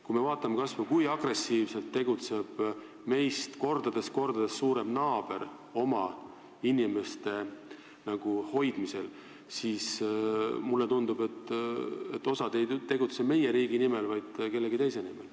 Kui me vaatame kas või seda, kui agressiivselt tegutseb meist kordades-kordades suurem naaber oma inimeste hoidmisel, siis mulle tundub, et osa ei tegutse meie riigi nimel, vaid kellegi teise nimel.